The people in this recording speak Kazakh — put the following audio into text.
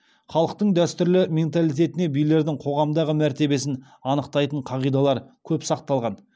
халықтың дәстүрлі менталитетінде билердің қоғамдағы мәртебесін анықтайтын қағидалар көп сақталған